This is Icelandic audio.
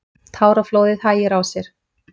Táraflóðið hægir á sér.